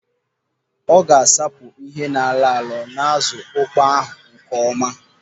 Ọ ga-asapụ ihe na-alọ alọ n'azụ ukpoo ahụ nkeọma.